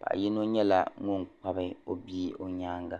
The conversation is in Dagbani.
paɣa yino nyɛla ŋuni kpa o bia o nyaaŋa.